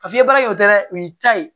Ka fiɲɛ baara kɛ o tɛ dɛ o y'i ta ye